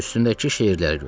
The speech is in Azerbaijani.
Üstündəki şeirlərə görə.